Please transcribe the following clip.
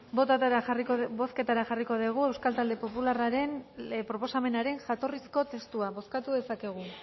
bozketara jarriko dugu euskal talde popularraren proposamenaren jatorrizko testua bozkatu dezakegu